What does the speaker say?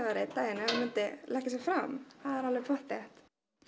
einn daginn ef hann myndi leggja sig fram það er alveg pottþétt